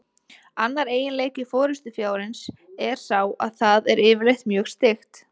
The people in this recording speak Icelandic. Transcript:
Annar eiginleiki forystufjárins er sá að það er yfirleitt mjög styggt.